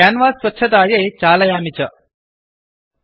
canvas स्वच्छतायै चालयामि च रन् करोमि